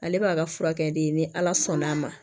Ale b'a ka furakɛli ni ala sɔnn'a ma